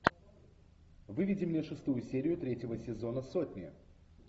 выведи мне шестую серию третьего сезона сотни